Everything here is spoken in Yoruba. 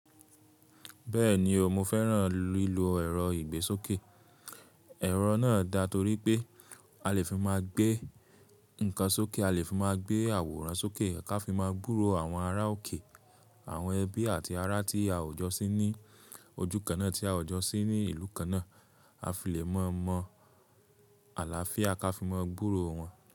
Bẹ́ẹ̀ni o, mo fẹ́ràn lílo ẹ̀rọ ìgbésókè. Ẹ̀rọ náà dá torí pé a lè fi máa gbé nǹkan sókè, a lè fi máa gbé àwòrán sókè, ka fi máa gbúró àwọn ará òkè, àwọn ẹbí àti ará tí a ò jọ sí ní ojú kan náà tí a ò jọ sí ní ìlú kan náà, a fi lè mọ̀ mọ̀ àlàáfíà ká fi máa gbúró wọn.